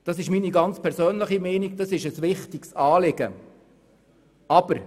Aus meiner ganz persönlichen Sicht ist dieses Anliegen wichtig.